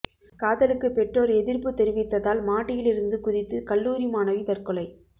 காதலுக்கு பெற்றோர் எதிர்ப்பு தெரிவித்ததால் மாடியில் இருந்து குதித்து கல்லூரி மாணவி தற்கொலை